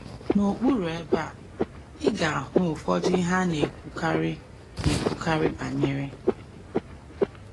N’okpuru ebe a, ị ga - ahụ ụfọdụ ihe a na - ekwukarị na - ekwukarị banyere.